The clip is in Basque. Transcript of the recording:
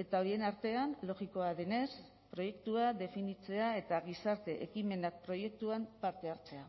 eta horien artean logikoa denez proiektua definitzea eta gizarte ekimenak proiektuan parte hartzea